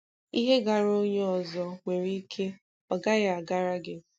Ihe gaara onye ọzọ nwere ike ọ gaghị agara gị.